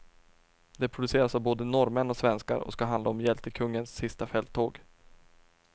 Det produceras av både norrmän och svenskar och ska handla om hjältekungens sista fälttåg.